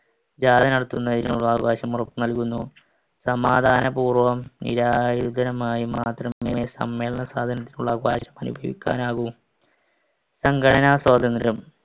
ജാഥ നടത്തുന്നതിനുമുള്ള അവകാശം ഉറപ്പുനൽകുന്നു. സമാധാനപൂർവ്വം നിരായുധനുമായി മാത്രമേ സമ്മേളന സ്വാതന്ത്ര്യത്തിനുള്ള അവകാശം അനുഭവിക്കാനാവൂ. സംഘടനാസ്വാതന്ത്ര്യം.